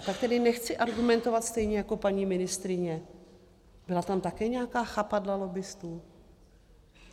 A tak tedy nechci argumentovat stejně jako paní ministryně - byla tam také nějaká chapadla lobbistů?